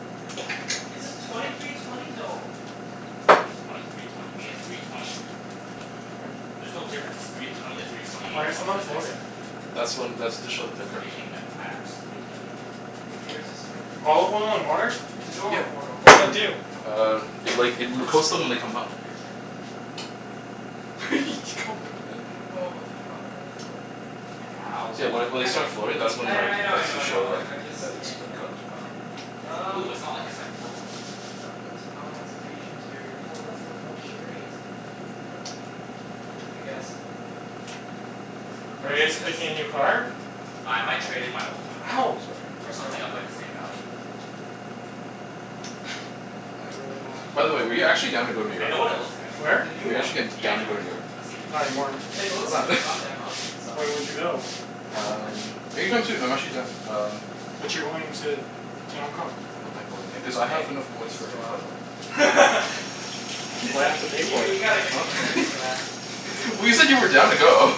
It says twenty three twenty, though. What do you mean twenty three twenty? You mean a three twenty? There's no difference three twenty to three twenty Why eight, are as long some as it of has them floating? xDrive. That's when, that's That to show that they're that's the main cooked. thing that matters to BMW. What year is this? Twenty fourteen? Olive oil in Yeah. water? It's Two the door or Yeah. four door? What does that Uh, do? four door. Uh, The it like, is the it l- first coats them when edition they of come the up. xDrive. Calm down, man. I don't know about the color though. Careful. Yeah, See that well, when you when they can't be start floating, picky if that's you're I when kn- buying like, I know I a that's know to used I show know, car. like, I'm just that it's like, about cooked. the color. It's blue. Um It's not like it's like purple or something. What int- ah, it's beige interior. Yo, that's like luxurious, man. But eh, I guess. You Are wanna you see guys this? picking a new car? What? Uh, I might trade in my old one. Ow! Sorry. For Yo. something of like, the same value. What? I really T- oh my want By the way, were you god, actually down to go New I York? know what it looks like. I've seen it. The Where? new Were you one. actually g- Yeah, I down to know, go I to New know, I York? know. I've seen it. Not anymore. It it Why looks like a not? f- god damn Audi inside. When would you go? Yeah, but Um, anytime soon. I'm actually done. It's a Um s- it's a But you're Honda. going to I mean it's a to Hong Kong. I don't mind going there. Cuz I have Hey, enough points means for it's a free flight. reliable. Why do He's I like, have to y- pay for you it? gotta give me Huh? credits for that. Mm, but Well it's you a said you were Honda. down to go.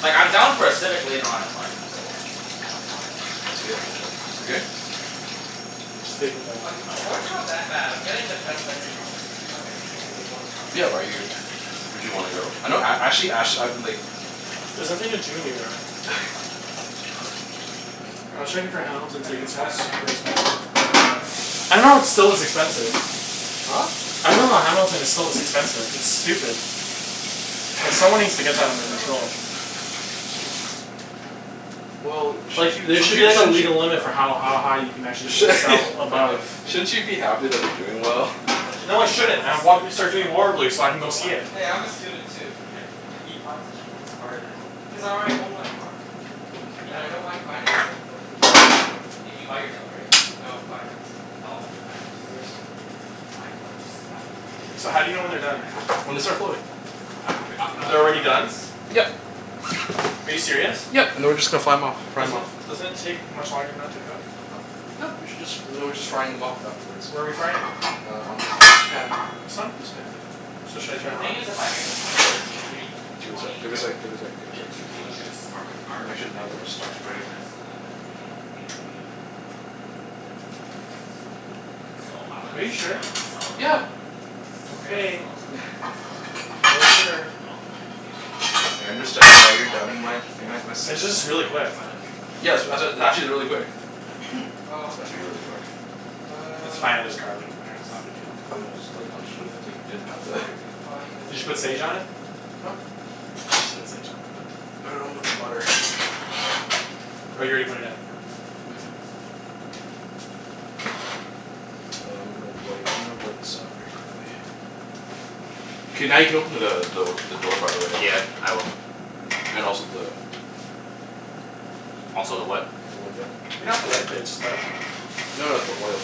Like, I'm down for a Civic later on in life, but I kinda want to, you Yeah. know, drive You a good? fast car right now. Just taking the Ac- Accord's not that bad. I'm getting the best engine option. Two hundred and sixty eight horsepower. Yeah, bu- are you would you wanna go? I know a- actually ash I like There's nothing to do in New York. I'm gonna drink more of your cocoa. Go I was right checking ahead. for Hamilton I feel tickets and bad for that's not super getting you any. expensive. Nah, it's all good. expensive. Huh? I dunno Hamilton is so expensive. It's stupid. Like, someone needs to get that under What about control. this? A Well, sh- four? sh- Like, there sh- sh- should be as Well, a it's shouldn't you legal it's limit for beyond my how budget. ha- high you can actually sh- sell My above budget's shouldn't fifty. you be happy that they're doing Well, my well? budget No, I right now shouldn't. as I a want him to student is start doing like, horribly so I can go see it. twenty. Hey, I'm a student too. Why are you buying such a nice car then? Because I already own my car. And Yeah, I don't w- mind financing it for a few years. Did you buy yours outright? No. Financed. How long was your finance? Two years. Mine was mine was three years. So, I'm how do you know a when I'm they're a year and done? a half in right When they now. start floating. But I B- can re- I can u- always they're already done? refinance. Yep. Are you serious? Yep, and then we're just gonna fly 'em off. Fry 'em Doesn't off. it doesn't it take much longer than that to cook? Huh? No, you should just, and then we're just frying them off afterward. Where are we frying it? Uh, on this pan. This one? This pan, yeah. So, should I turn The thing it is, on? if I get the twenty thirteen three Give it a sec, twenty give it a sec, give it a sec, give the it a sec. two dealerships are c- Just wanna aren't make sure none of them are connected. stuck Like Brian together. Jessel and then the um, BMW in uh, Langley was it, or something like that. So, I might Are have you to Okay, yeah. straight sure? up sell it to Yeah. them. Straight up Okay. sell it to the one, s- sell it to the guys in You're Langley. sure. And then I'll continue paying the financing. I understand why But then you're I'll doubting pretty my much just get a my my l- s- like, It's just I'll really pretty quick. much buy the three twenty Yeah, outright sw- for a like, it's actually two really thousand quick. or something like that. Oh, It's okay. meant to be really quick. It's fine. There's Um garlic in there. We'll It's not a big see. deal. No, it's like, I'm just worried that Shoot. like, you didn't How put do the I refine the Did you put sage location? on it? Huh? You should put sage on it. I put put it on with the butter. Oh, you already put it in? Mhm. Uh, I'm gonna wipe, I'm gonna wipe this off very quickly. K, now you can open the the the door, by the way, Yeah, Alvin. I will. And also the the the Also the what? the window. You don't Oh. have to wipe it. It's just garlic. No no, it's the oil.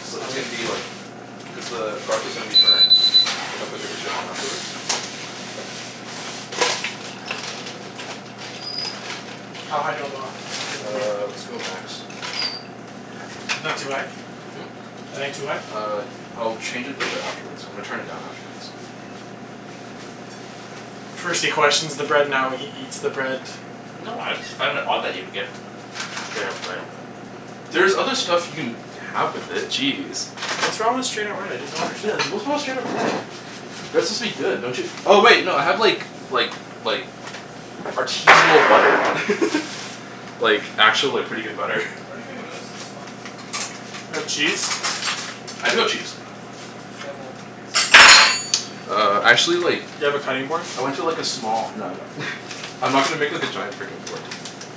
It's li- Oh, it's gonna really? be like cuz the garlic is gonna be burnt. If I cook it for too long afterwards. How high do you want the l- the thing to be? Uh, let's go max. Isn't that too high? Hmm? That ain't too high? Uh, I'll change it later afterwards. I'm gonna turn it down afterwards. First he questions the bread, now he eats the bread. No, I just find it odd that you would get straight up bread, but There's other stuff you can have with it. Jeez. What's wrong with straight up bread? I just don't Yeah, understand. what's wrong with straight up bread? Bread's Mmm. supposed to be good, don't you Oh wait, no, I have like like like artisanal butter. Like, actual like, pretty good butter. What do you think of this this one? You have cheese? I do have cheese. Demo. Ex demo. Uh, actually like Do you have a cutting board? I Yeah went man, to I like a was trying small, to no I don't. I'm not gonna make like a giant frickin' board.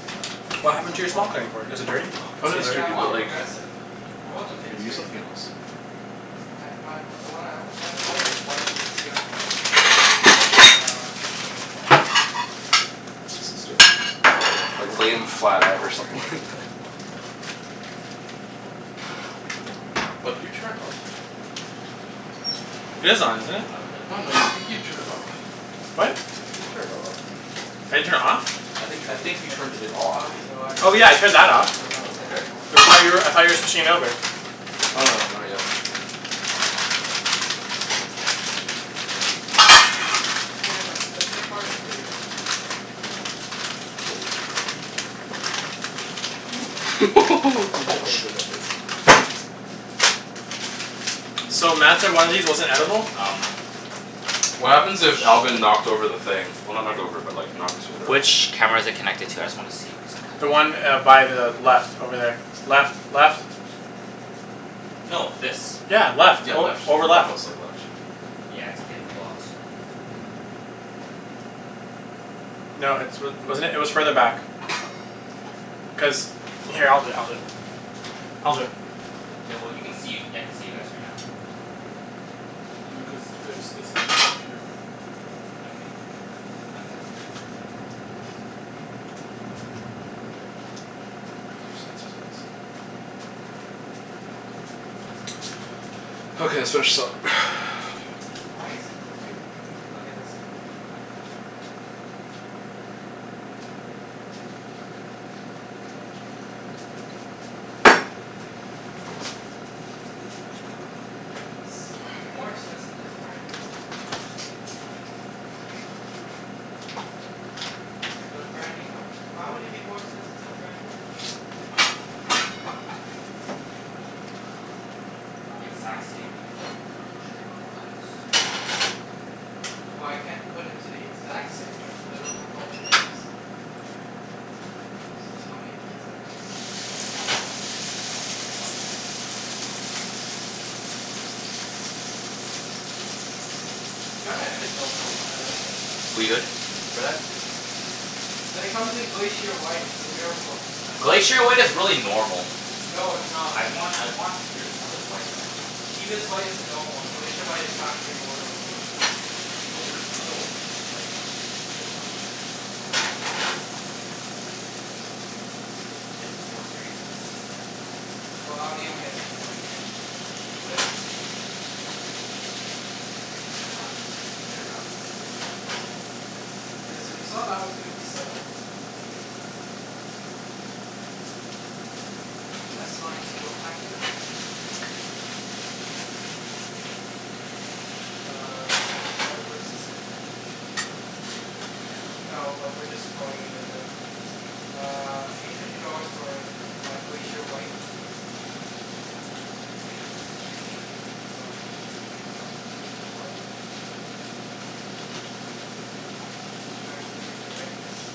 But, What it's Is happened it to comf- your it's small com- quattro? cutting board? is Is it, it dirty? it's comfort. Oh no, Still Yeah, it's the, dirty? Yeah, I dirty, want but like yeah. progressive. I want the mid Can you use tier. something else? I my w- the one I w- have in mind is white, mid tier lots of progressive uh, two point oh quattro. Use this instead. Like, I lay dunno. 'em I'm not flat even out or considering something like A that. four or like, a bri- like, semi decent A four at this point. Oh, did you turn it off? Cuz It is on, BMWs, isn't it? outta the Oh three no, you, I luxury think you brands turned it off. What? BMW gets the I think you turned cheapest it off. when it gets older. I didn't turn it off? I That's think I true, think you but turned it off. Audi's Oh yeah, I reliability turned that off. standards are Oh, getting okay. a lot Cuz I better. thought you were, I thought you were switching over? Oh no, not yet. Audi's still relatively new. In the game. Yeah, but th- their cars are pretty good. Dude, I Oh, can't sh- even get this. So, Mat said one of these wasn't edible? Um What happens which if Alvin knocked over the thing? Well, not knocked over but like, knocked it around? which camera is it connected to? I just wanna see cuz The I one kinda uh, by the left over there. Left. Left. No, this. Yeah, left. Yeah, Oh, left. over The laptop's left. like left. Yeah, it's getting blocked. No, it's wa- wasn't it? It was further back. Cuz, here, I'll do it. I'll do it. I'll do it. K, well you can see. I can see you guys right now. Mm. No, cuz there's, it's a two port camera. Okay. My bad. Yeah. Cuz there's sensors on this side. Okay, let's finish this up. Why is it? Dude, look at this. What? It's more expensive to have a brand new one. I dunno why. Cuz twenty eighteen's about to come out? But a brand new one? Why would it be more expensive to have a brand new one? Exact same, like, trim and all that? Well, I can't put it to the exact same trim cuz I don't know what it is. You can find out. It doesn't tell me the exact trim cuz there's so many add-ons. Oh, yeah, probably add-ons then. Gotta admit though, I like it. We good for that? And it comes in Glacier White. It's a miracle. Glacier White is really normal. No, it's not. I want I want, there's another white that I want. It's Ibis White uh is the normal one. Glacier White is factory order only. No, there's another one that you can just like, um there's another white. I dunno, I forgot what it cal- what it's called. My friend sent me a picture once, though. His his four series is is that white. I Well, for- Audi only has two whites. Get a wrapped exter- get it wrapped from another company. Yeah, so you saw that was fifty seven. S Line Sport Package. Uh, advanced driver assistant package. Do you really need that? No, but we're just throwing it in there. Uh, eight hundred dollars for my Glacier White. Error message. Yeah, cuz I clicked the wrong thing. Glacier White. Nineteen inch rims.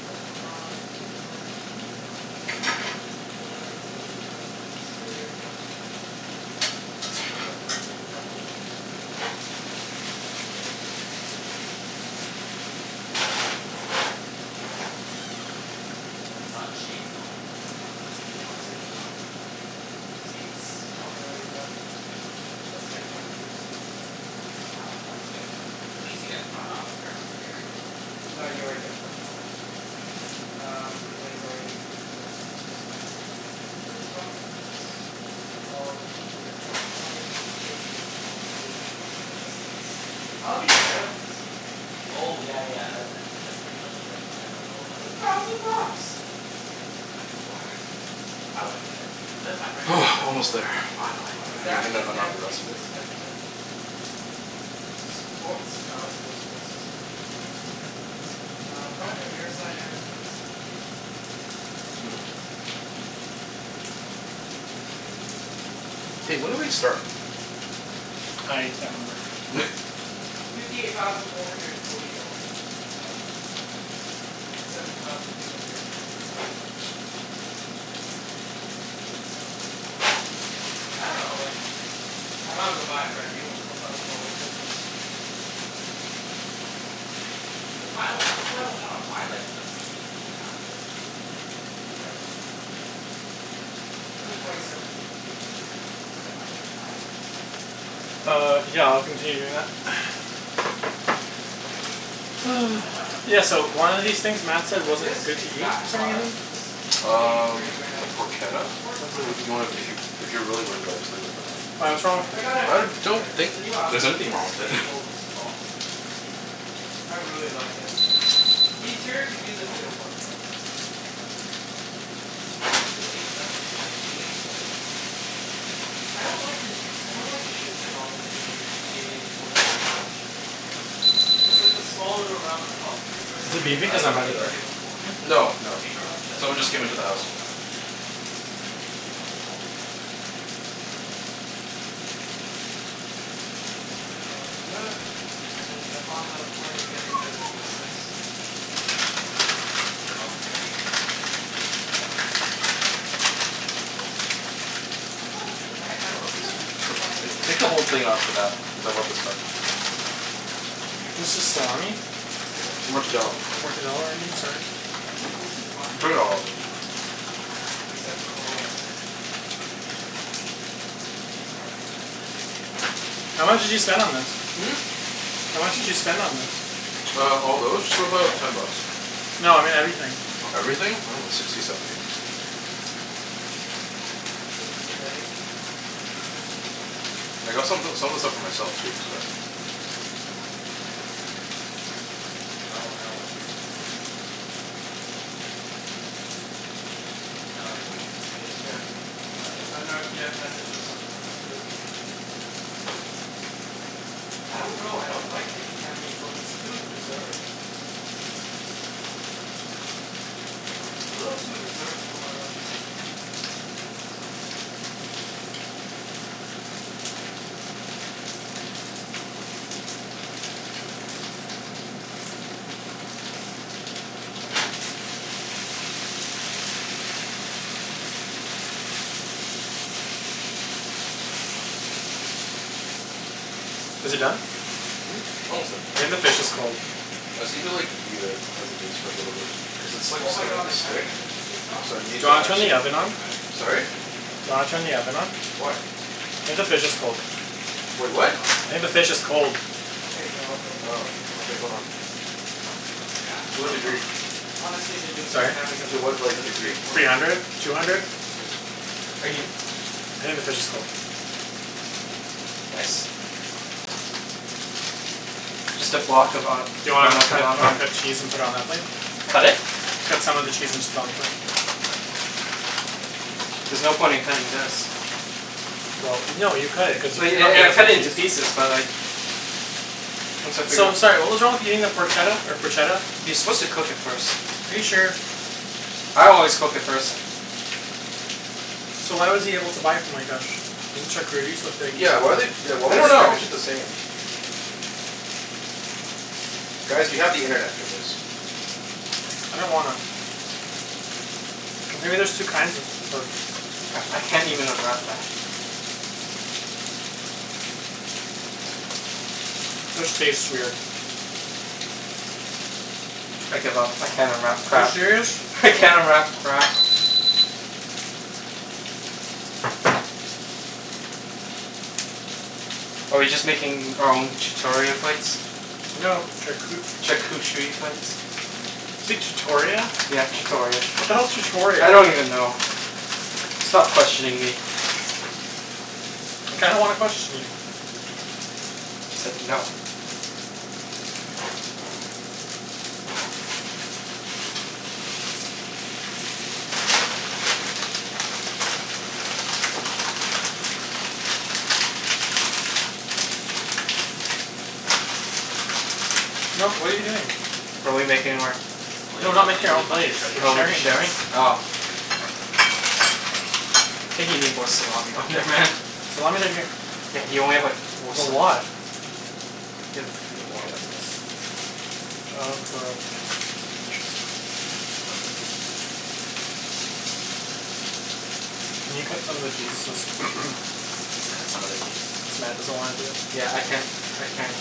Blah blah blah. Wheels and tires. I think that's already done. Headlights, already done. Exterior done. Roof. Don't really give a crap about the win- For the rear? No, get air for the rear seat, too. Why? Why? Oh, sun shades? Oh, no no no, not sun sage. Yeah, I was like, "Why?" Seats, probably already done. Let's get front and rear seating. Re- reseat. Yeah, of course you get front. At least you get front. I don't care about rear. No, you already get front auto. Um, inlay's already included in the s p s package. Comfort. All included. Audio communication, all included. Assistance. Audi head up display? Oh, yeah yeah, I like that. It's like, pretty much it's like, it's like a little It's a like thousand bucks! Yeah, it's it's kinda not worth I wouldn't get it. But then my friend has it for his four Almost there. series, cuz it was Finally. Are you automatically gonna Adaptive unwrap the dampening rest of this? suspension. Sports, nah, let's go with sports suspension. Uh, front and rearside airbags. Hey, when did we start? I can't remember. Fifty eight thousand four hundred and forty dollars. What was that one? Fifty seven something? Fifty seven thousand three hundred and nine. Yeah. Demos. I don't know, like, I might as well buy a brand new one for a thousand dollars difference. Well, I dunno. I'd That's why I don't, that's why I don't wanna buy like, immediately after like, the y- right when it comes out. This is Like, twenty I I seventeen, too. Yeah, I know. Like, I I wouldn't buy a twenty seventeen car right now. Uh, yeah. I'll continue doing that. I'd give it a few more years. Like, even if I had Yeah, money so right now, I one of don't these think things I'd Mat said buy If wasn't this good to eat, exact for some car reason? was maybe thirty Um, grand? the I'd do it. Yeah, of porchetta? course. What's T- Well, I'd it do you wanna, it, too. if you If you're really worried about it, just leave it for now. Why, Eek- what's wrong I with I it? gotta I give them don't creds. think The new Audi there's l- anything wrong S with A it. four looks bomb. Yeah, I like the new A four I by really Audi. like it. The interior could use a bit of work, though. Mm, I I like the new A seven, I mean the new A four they completely redesigned everything. I don't like the n- I don't like the shifter knob in the new a for- in the A fours. The shifter knob is, it I- it's it's like a like a s- small little round pub. Is Versus it the, I beeping like cuz the I'm by the door? BMW ones more. Hmm? No, The no, beamer no. one, the Someone beamer just ones, came like, into the no house. one will ever touch that. Beamer ones will always be the best at that. Yeah. I dunno. And then the Honda Accord, they're getting rid of the V six. Yeah, cuz every every, they're all, every company's going towards like, four engines. Or four cylinder engines. What about a Toyo- I I don't Love see this that many stuff. Tu- people s- buying e- Toyota Take the whole Camrys. thing off of that. Cuz I love this stuff. Uh, I yeah, the only Camrys I It's see are just really old salami? ones. I haven't seen newer Mortadella. ones lately. Mortadella I mean, sorry. No one seems to be buying Bring it all Toyota out. lately. Except for Corollas. Jeff's part of civic nation now. How much did you spend on this? Hmm? How much did you spend on this? Uh, all Oh, those? I Just got a about call. ten bucks. No, I mean everything. Oh, everything? I dunno. Sixty, seventy? Is it the bay? I got some o- some of the What? stuff for myself, too, so Oh, no, what the heck? No, it was It's Jeff. No, it Uh wasn't no, Jeff messaged us on the WhatsApp group. I don't know. I don't like the new Camry's look. It's too reserved. It's a little too reserved for my liking. Is it done? Hmm? Almost there. I think the fish is cold. I just need to like, leave it as it is for a little bit. Cuz it's like, Oh my god, starting the to Camry stick. has a V six So I option Do need you still? to wanna turn the actually oven on? I would st- I would, Sorry? still wouldn't get it. Do you wanna turn the oven on? Why? I think the fish is cold. Wait, Why what? not? I think the fish is cold. Okay, no, it doesn't look Oh. that good. Okay, hold on. Cuz it's takes so much more gas. To what Yeah. degree? Honestly, the new, the Sorry? Camry doesn't To look what, as like, good as the degree? Accord. Three hundred. Two hundred? Okay. Are you I think the fish is cold. Nice. Just a block of a- Do you want me Grana to cut, Padano. want me to cut cheese and put it on that plate? Cut it? Cut some of the cheese and just put it on the plate. There's no point in cutting this. Well no, you cut it. Cuz you Well ye- e- cut it can't a into piece. pieces, but like once I figure So, out sorry what was wrong with eating the Porchetta, or Proshetta? You're supposed to cook it first. Are you sure? I always cook it first. So why was he able to buy it from like, a sh- isn't charcuterie supposed to be Yeah, why like they, eaten why I would don't they know. package it the same? Guys, we have the internet for this. I don't wanna. Cuz maybe there's two kinds of of C- I can't even unwrap that. This tastes weird. I give up. I can't unwrap Are you crap. serious? I can't unwrap crap. Are we just making our own chutoria plates? No, charcu- Charcucherie plates? Say chutoria? Yeah, chutoria. What the hell's chutoria? I don't even know. Stop questioning me. I kinda wanna question you. I said no. No, what are you doing? Are we making our Oh, No, we're Ibs, I not have something making our really own funny to plates. show you. We're Oh, we'll be sharing sharing? this. Oh. I think you need more salami on there, man. Salami's right here. Yeah, you only have like, four There's a sli- lot. Better put a few more. Here, look at this. John Can you cut some of the cheese so s- Cut some of the cheese? since Mat doesn't wanna do it. Yeah, I can't, I can't.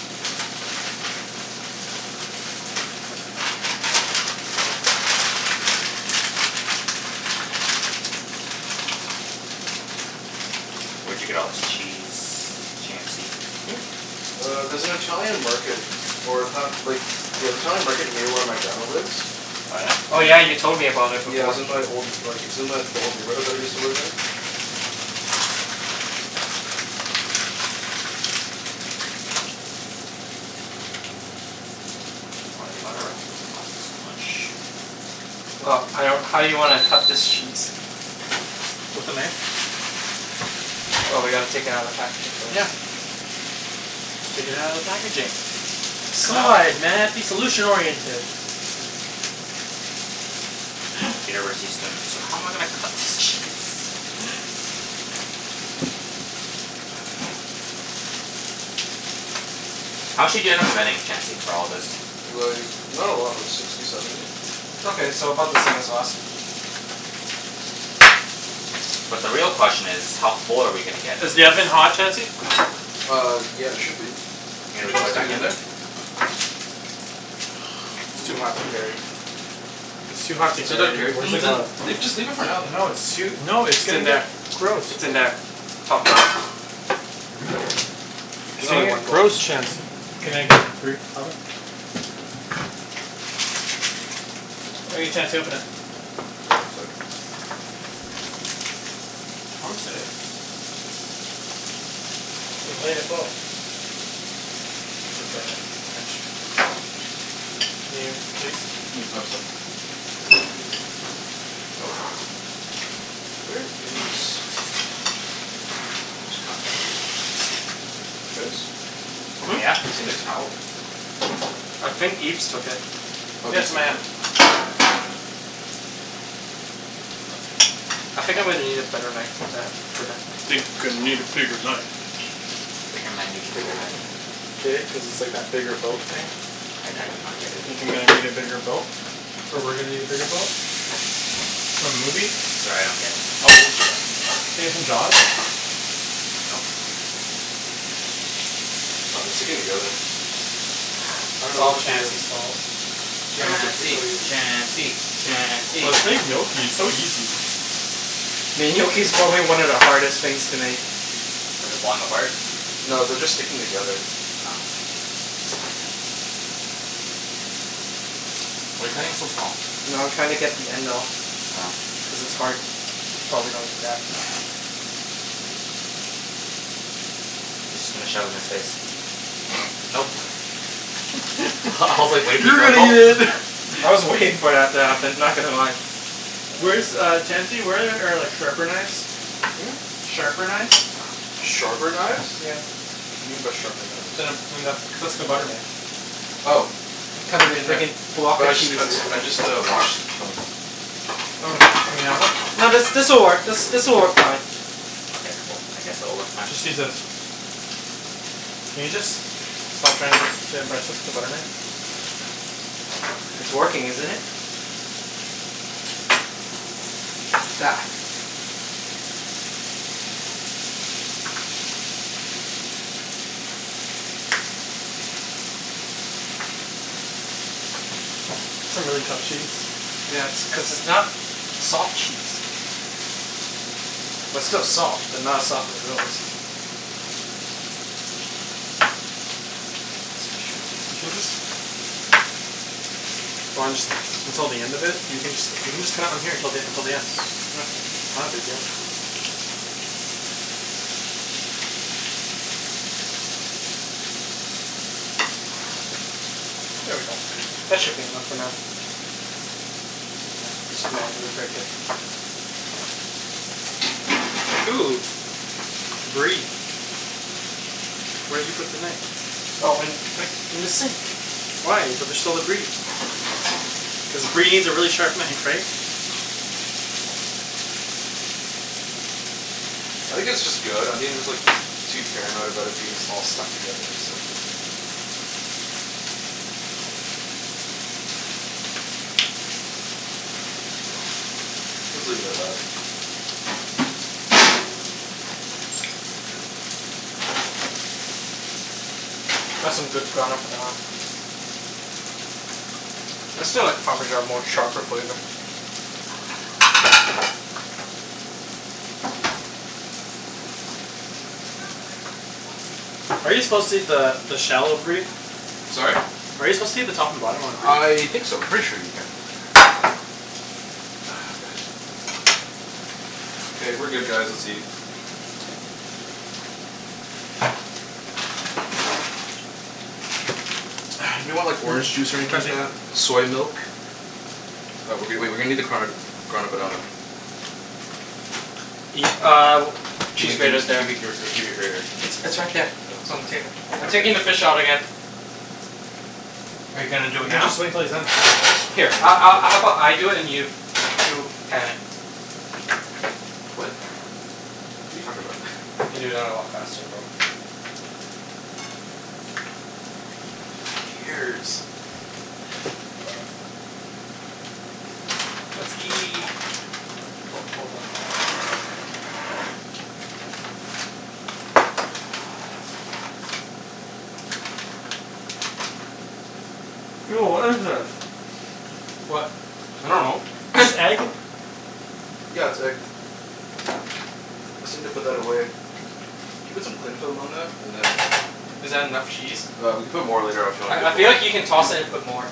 Where'd you get all this cheese, Chancey? Hmm? Uh, there's an Italian market or in ta- like Yeah, the Italian market near where my grandma lives. Oh yeah? Oh yeah, you An- told me about it Yeah, it before. was in my old like, it's in my, the old neighborhood that I used to live in. Why do they gotta wrap it in plastic so much? Well, I don't, how you wanna cut this cheese? With a knife. Oh, we gotta take it outta the packaging first. Yeah. Take it outta the packaging. Sa- God, Mat, be solution oriented. University students. So how am I gonna cut this cheese? How much did you end up spending, Chancey, for all of this? Like, not a lot. Like, sixty, seventy. Okay, so about the same as last. But the real question is how full are we gonna get from Is the oven this? hot, Chancey? Uh, yeah, it should be. Are you Did gonna you re- wanna put it stick back it in in? there? It's too hot to carry. It's too hot to So don't care, carry. Where's n- the th- n- glove? Leave, just leave it for now, No, then. it's too, no, it's It's in there. I- Gross. it's in there. Top drawer. It's There's only gonna one get glove. gross, Chancey. Can I get through? Oven. All right, Chancey, open it. One sec. Chancey. I shouldn't say that. French. Can you, please? Mm? Oh, sor- Ooh. Where is a towel? Guys? Hmm? Yeah? Seen a towel? I think Ibs took it. Oh, Yeah, it's Ibs in my hand. Oh, thank you. I think I'm gonna need a better knife than that for the Think I need a bigger knife. Bigger man needs a bigger knife. Get it? Cuz it's like that bigger boat thing? I I do not get it. Thinking that I need a bigger boat. Or we're gonna need a bigger boat. Nope. For movies. Sorry, I don't get it. Oh Nope. God, they're sticking together. I don't It's know all what to do. Chancey's fault. Chancey! Chancey! Chancey! Let's make gnocchi. It's so easy. Mean gnocchi's probably one of the hardest things to make. What, is it falling apart? No, they're just sticking together. Oh. Why are you cutting it so small? No, I'm trying to get the end off. Oh. Cuz it's hard. Probably don't eat that. He's just gonna shove it in his face. Nope. I I was like, waiting for you to go gulp. I was waiting for that to happen. Not gonna lie. Where's Uh. uh, Chancey? Where are like sharper knives? Hmm? Sharper knives? Sharper knives? Yeah. What do you mean by sharper knives? Then a, than the, just a butter knife. Oh. I'm They'll cutting a be in there. fricking block But of I just cheese. cuts, I just uh washed them. Oh, in the oven? No, this this'll work, this this'll work fine. Okay, cool. I guess it'll work fine. Just use this. Can you just stop trying to impress us with a butter knife? It's working, isn't it? I don't know what you expect to me. That's a really tough cheese. Yeah, it's cuz it's not soft cheese. Well, it's still soft, but not as soft as those. You can just Why don't just until the end of it? You can jus- you can just cut it on here till the until the end. Okay. Not a big deal. There we go. That should be enough for now. Yeah, just Just manually manually break break it. it. Ooh. Brie. Where'd you put the knife? Oh in, right in the sink. Why? But there's still the brie. Cuz brie needs a really sharp knife, right? I think it's just good. I think I'm just like too paranoid about it being s- all stuck together, so Let's leave it at that. That's some good Grana Padano. I still like parmesan more. Sharper flavor. Are you supposed to eat the the shell of brie? Sorry? Are you supposed to eat the top and bottom on the brie? I think so. I'm pretty sure you can. Ah, god. K, we're good guys. Let's eat. Anyone want like orange juice or anything like Chancey. that? Soy milk? Uh, w- w- wait. We're gonna need the card Grana Padano. Eat uh, cheese Gimme gimme grater's g- there. gimme gr- gr gimme your grater. It's it's right there. It's Oh. on the table. I'm taking the fish out again. Are you You gonna can do it now? just wait until he's done. Here a- a- how about I do it and you you pan it? What? What are you talking about? I can do that a lot faster, bro. Fucking ears. Let's eat. Hold on. Ho- hold up. Ew, what is this? What? I dunno. This egg? Yeah, it's egg. Just need to put that away. Can you put some cling film on that? And then Is that enough cheese? Uh, we can put more later af- you want, I if I you feel want. like you can toss it and put more.